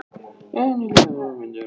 En ekki láta hann fá myndavélina!